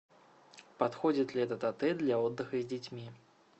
подходит ли этот отель для отдыха с детьми